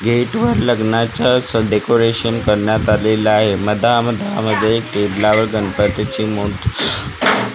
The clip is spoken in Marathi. गेट वर लग्नाच्याच डेकोरेशन करण्यात आलेला आहे मधामधा मध्ये टेबलावर गणपतीची मूर्ती--